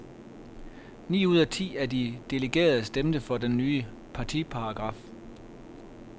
Ni ud af ti af de delegerede stemte for den nye partiparagraf.